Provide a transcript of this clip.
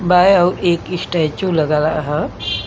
बै अ एक स्टैचू लग रहा ह।